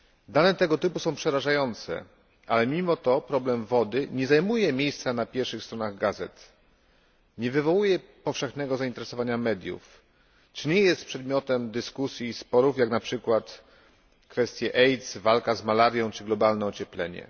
Dane tego typu są przerażające, ale mimo to problem wody nie zajmuje miejsca na pierwszy stronach gazet, nie wywołuje powszechnego zainteresowania mediów czy nie jest przedmiotem dyskusji i sporów, jak na przykład kwestie AIDS, walka z malarią czy globalne ocieplenie.